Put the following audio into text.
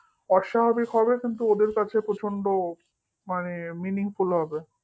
অস্বাভাবিক হবে কিন্তু ওদের কাছে প্রচন্ড মানে meaningful হবে